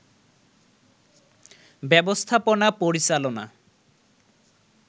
ব্যবস্থাপনা পরিচালনা